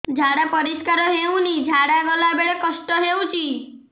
ଝାଡା ପରିସ୍କାର ହେଉନି ଝାଡ଼ା ଗଲା ବେଳେ କଷ୍ଟ ହେଉଚି